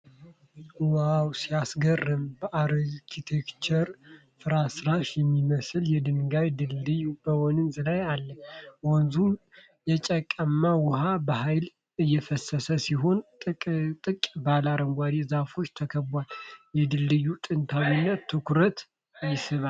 ዋው ሲያስገርም! በአርኪዮሎጂያዊ ፍርስራሽ የሚመስል የድንጋይ ድልድይ በወንዝ ላይ አለ። ወንዙ የጭቃማ ውሃ በሃይል እየፈሰሰ ሲሆን፣ ጥቅጥቅ ባለ አረንጓዴ ዛፎች ተከቧል። የድልድዩ ጥንታዊነት ትኩረት ይስባል።